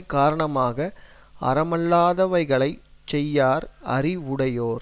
காரணமாக அறமல்லாதவைகளைச் செய்யார் அறிவுடையோர்